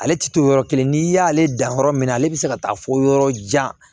Ale ti to yɔrɔ kelen n'i y'ale dan yɔrɔ min na ale bi se ka taa fɔ yɔrɔ jan